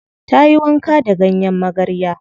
Ta yi wanka da ganyen magarya.